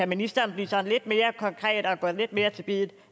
ministeren blive sådan lidt mere konkret og gå lidt mere til biddet